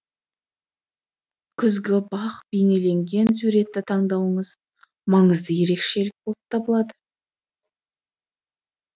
күзгі бақ бейнеленген суретті таңдауыңыз маңызды ерекшелік болып табылады